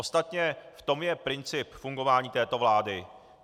Ostatně v tom je princip fungování této vlády.